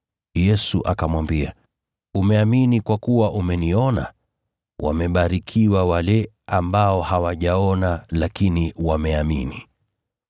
Yesu akamwambia, “Umeamini kwa kuwa umeniona? Wamebarikiwa wale ambao hawajaona lakini wameamini.”